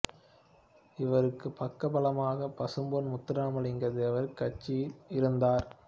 இவருக்கு பக்க பலமாக பசும்பொன் முத்துராமலிங்க தேவர் கட்சியில் இருந்தார்